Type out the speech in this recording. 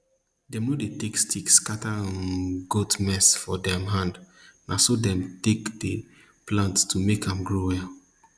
dem nor dey take stick scatter um goat mess for dem hand na so dem take dey dey plant to make am grow well